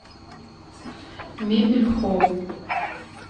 мебель холл